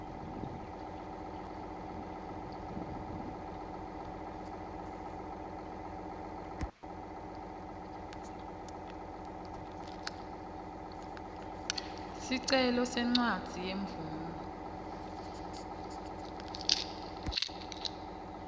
sicelo sencwadzi yemvumo